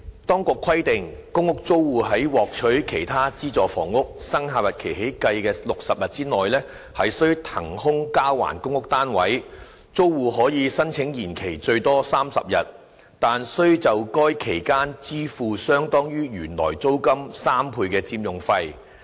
當局規定，公屋租戶在獲取其他資助房屋生效日期起計的60天內須騰空交還公屋單位；租戶可申請延期最多30天，但須就該期間支付相當於原來租金3倍的佔用費。